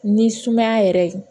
Ni sumaya yɛrɛ ye